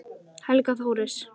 Helga Þóris.